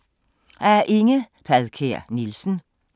Af Inge Padkær Nielsen